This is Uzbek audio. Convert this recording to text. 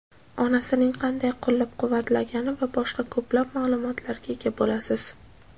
onasining qanday qo‘llab-quvatlagani va boshqa ko‘plab ma’lumotlarga ega bo‘lasiz.